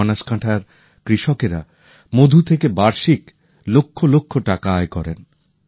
আজ বনসকান্থার কৃষকেরা মধু থেকে বার্ষিক লক্ষ লক্ষ টাকা আয় করেন